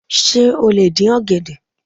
Sé o lè dín ọ̀gẹ̀dẹ̀?